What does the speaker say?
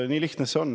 Nii lihtne see on.